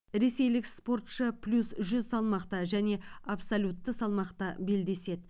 ресейлік спортшы плюс жүз салмақта және абсолютті салмақта белдеседі